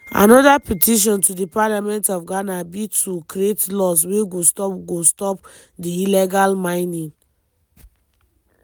anoda petition to di parliament of ghana be to create laws wey go stop go stop di illegal mining.